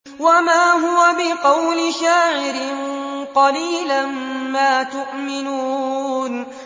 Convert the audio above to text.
وَمَا هُوَ بِقَوْلِ شَاعِرٍ ۚ قَلِيلًا مَّا تُؤْمِنُونَ